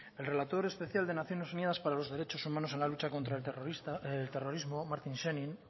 el relator especial de naciones unidas para los derechos humanos en la lucha contra el terrorismo martin scheinin